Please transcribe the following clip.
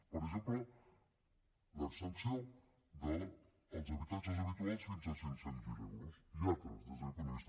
per exemple l’exempció dels habitatges habituals fins a cinc cents miler euros i altres des d’aquest punt de vista